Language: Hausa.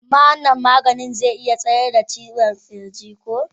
Amma wannan maganin zai iya tsayar da ciwon kirji ko?